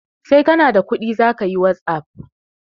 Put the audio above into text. Sai kana da kuɗi zakayi wasuf